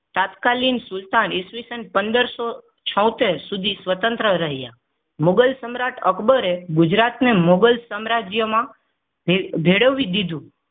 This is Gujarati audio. તાત્કાલિક સુલતાન ઈસવીસન પંદરસો છોતેર સુધી સ્વતંત્ર રહ્યા મુગલ સમ્રાટ અકબરે ગુજરાતને મોગલ સામ્રાજ્યમાં ભેળ ભેળવી દીધું.